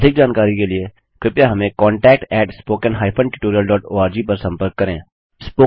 अधिक जानकारी के लिए कृपया contact at spoken hyphen tutorial dot org पर संपर्क करें